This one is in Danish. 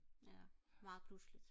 ja meget pludseligt